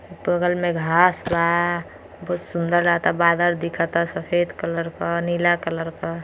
बगल में घांस बा बहुत सुन्दर लागता बादल दिखता सफेद कलर क नीला कलर क।